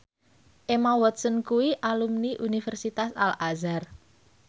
Emma Watson kuwi alumni Universitas Al Azhar